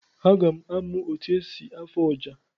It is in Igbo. Aga m amụ otu esi afụ ọjà.